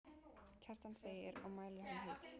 Kjartan segir og mæli hann heill.